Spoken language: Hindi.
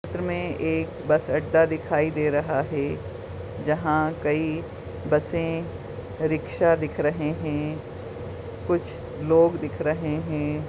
चित्र में एक बस अड्डा दिखाई दे रहा है जहाँ कई बसे रिक्शा दिख रहे है कुछ लोग दिख रहे है।